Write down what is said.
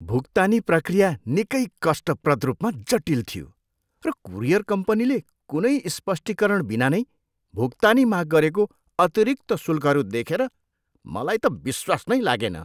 भुक्तानी प्रक्रिया निकै कष्टप्रद रूपमा जटिल थियो, र कुरियर कम्पनीले कुनै स्पष्टीकरण बिना नै भुक्तानी माग गरेको अतिरिक्त शुल्कहरू देखेर मलाई त विश्वास नै लागेन।